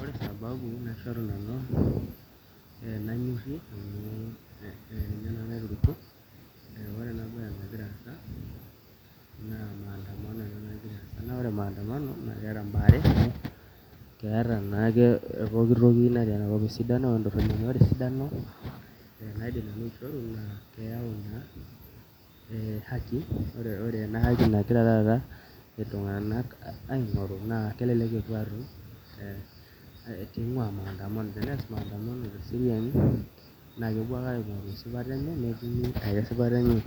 Ore sababu naishoru nanu nanyorrie amu ninye naiturukuo aa ore ena baye nagira aasa naa maandamano ena nagira aasa naa ore maandamano naa keeta imbaa are amu keeta naake pooki toki natii enakop esidanoo entorroni neeku ore esidano ore ina keyau ina haki ore ina haki nagira iltung'anak aing'oru kelelek epuo aatum pee ing'uaa maandamano, tenees maandamano teseriani naa kepuo ake aing'oru esipata enya